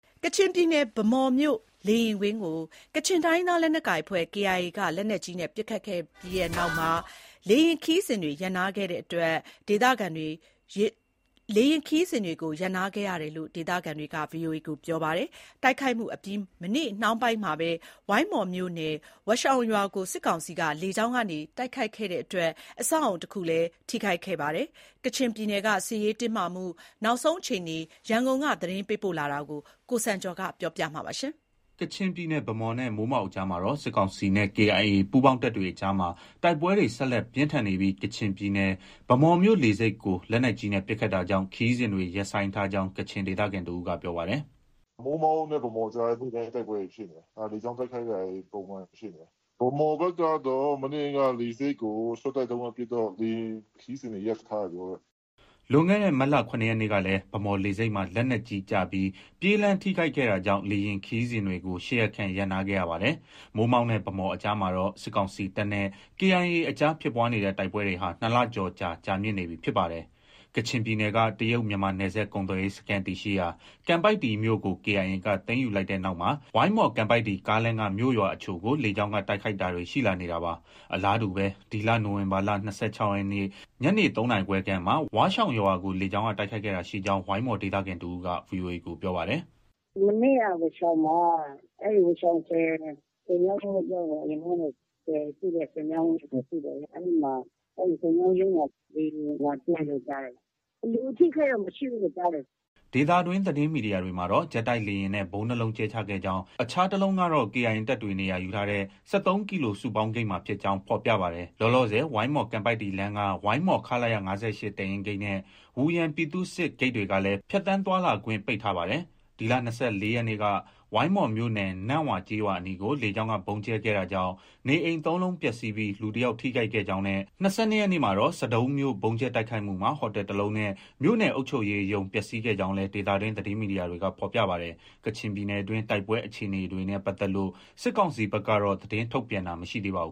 ကချင်ပြည်နယ် ဗန်းမော်မြို့ လေယာဉ်ကွင်းကို ကချင်တိုင်းရင်းသား လက်နက်ကိုင်အဖွဲ့ KIA က လက်နက်ကြီးနဲ့ပစ်ခတ်ခဲ့ပြီးနောက် လေယာဉ်ခရီးစဉ်တွေရပ်နားခဲ့ရကြောင်း ဒေသခံတွေက ပြောပါတယ်။ တိုက်ခိုက်မှုအပြီး မနေ့နှောင်းပိုင်းမှာပဲ ဝိုင်းမော်မြို့နယ် ဝါးရှောင်ရွာကိုစစ်ကောင်စီက လေကြောင်းကတိုက်ခိုက်ခဲ့တာကြောင့် အဆောက်အဦးတခု ထိခိုက်ခဲ့တယ်လို့လည်း ပြောပါတယ်။ ကချင်ပြည်နယ်က စစ်ရေးတင်းမာမှု နောက်ဆုံးအခြေအနေ ရန်ကုန်က သတင်းပေးပို့ထားတာကို ကိုစံကျော် တင်ပြထားပါတယ်။ ကချင်ပြည်နယ် ဗန်းမော်နဲ့ မိုးမောက်ကြားမှာ စစ်ကောင်စီနဲ့ KIA ပူးပေါင်းတပ်တို့ တိုက်ပွဲတွေ ဆက်လက်ပြင်းထန်နေပြီး ကချင်ပြည်နယ် ဗန်းမော်မြို့လေဆိပ်ကို လက်နက်ကြီးနဲ့ ပစ်ခတ်တာကြောင့် ခရီးစဉ်တွေ ရပ်ဆိုင်းထားကြောင်းကချင်ဒေသခံ တဦးက ပြောပါတယ်။ “မိုးမောက်နဲ့ ဗန်းမော်ကြားလည်း နေ့တိုင်း တိုက်ပွဲတွေ ဖြစ်နေတယ်။ လေကြောင်းတိုက်ခိုက်တာတွေ ပုံမှန် ဖြစ်နေတယ်။ ဗန်းမော်ဘက်ကတော့ မနေ့က လေဆိပ်ကို ရှော့တိုက်ဒုံးနဲ့ပစ်တော့ လေယာဉ်ခရီးစဉ်တွေ ရပ်ထားတယ် ပြောတယ်။” လွန်ခဲ့တဲ့ မတ်လ ၇ ရက်နေ့ကလည်း ဗန်းမော်လေဆိပ်မှာလက်နက်ကြီးကျပြီး ပြေးလမ်းထိခိုက်ခဲ့ တာကြောင့်လေယာဉ်ခရီးစဉ်တွေကို ၈ ရက်ခန့် ရပ်နားခဲ့ရပါတယ်။ မိုးမောက်နဲ့ဗန်းမော်ကြားမှာ စစ်ကောင်စီတပ်နဲ့ KIA တပ်တို့တိုက်ပွဲတွေဖြစ်နေတာ ၂ လကျော် ကြာမြင့်လာနေပြီဖြစ်ပါတယ်။ ကချင်ပြည်နယ်က တရုတ်-မြန်မာနယ်စပ်ကုန်သွယ်ရေးစခန်းတည်ရှိရာ ကန်ပိုက်တီ မြို့ကို KIA ကသိမ်းယူလိုက်တဲ့နောက်မှာ ဝိုင်းမော်- ကန်ပိုက်တီ ကားလမ်းက မြို့၊ ရွာအချို့ကို လေကြောင်းက တိုက်ခိုက်တာတွေ ရှိလာနေတာပါ။ အလားတူပဲ ဒီလနိုဝင်ဘာလ ၂၆ ရက်နေ့ ညနေ ၃ နာရီခွဲခန့်မှာ ဝါးရှောင်ရွာကို လေကြောင်းက တိုက်ခိုက်တာရှိခဲ့ကြောင်း ဝိုင်းမော် ဒေသခံတဦးက VOA ကို ပြောပါတယ်။ “မနေ့က ဝါးရှောင်မှာ အဲဒီ ဝါးရှောင်ဆည် ဆည်မြောင်းရုံးလို့ ပြောရမှာပေါ့။ အရင်တုံးကတော့ ဆည်ရှိတဲ့ ဆည်မြောင်းရုံးဆိုတာ ရှိတယ်လေ။ အဲဒီမှာ ဆည်မြောင်းရုံးမှာ လေယာဉ်လာကြဲတယ်လို့ ကြားတယ်။ လူအထိအခိုက်တော့မထိဘူးလို့ ကြားတယ်။” ဒေသတွင်းသတင်းမီဒီယာတွေမှာတော့ ဂျက်တိုက်လေယာဉ်နဲ့ ဗုံး ၂ လုံးကြဲချခဲ့ကြောင်း၊ အခြား တလုံးက KIA တပ်တွေ နေရာယူထားတဲ့ ၁၃ ကီလို စုပေါင်းဂိတ်မှာ ဖြစ်ကြောင်း ဖော်ပြပါတယ်။ လောလောဆယ်မှာ ဝိုင်းမော်-ကန်ပိုက်တီလမ်းရှိ ဝိုင်းမော် ခလရ ၅၈ တပ်ရင်းဂိတ်နဲ့ ဝူယန်ပြည်သူ့စစ် ဂိတ်တွေကလည်းဖြတ်သန်းသွားလာခွင့်ပိတ်ထားပါတယ်။ ဒီလ ၂၄ ရက်နေ့က ဝိုင်းမော်မြို့နယ် နန့်ဝါ ကျေးရွာအနီးကို လေကြောင်းကဗုံးကြဲခဲ့တာကြောင့် နေအိမ် ၃ လုံးပျက်စီးပြီး လူတယောက်ထိခိုက်ခဲ့ကြောင်းနဲ့ ၂၂ ရက်နေ့မှာတော့ ဆဒုံးမြို့ ဗုံးကြဲတိုက်ခိုက်မှုမှာ ဟိုတယ်တလုံးနဲ့ မြို့နယ်အုပ်ချုပ်ရေးရုံး ပျက်စီးခဲ့ကြောင်းလည်း ဒေသတွင်း သတင်းမီဒီယာတွေကဖော်ပြပါတယ်။ ကချင်ပြည်နယ်တွင်း တိုက်ပွဲအခြေအနေတွေနဲ့ပတ်သက်လို့ စစ်ကောင်စီဘက်ကတော့ သတင်းထုတ်ပြန်တာမရှိသေးပါဘူ